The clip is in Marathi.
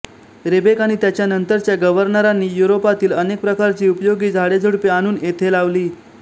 रीबेक आणि त्याच्यानंतरच्या गव्हर्नरांनी युरोपातील अनेक प्रकारची उपयोगी झाडेझुडुपे आणून येथे लावली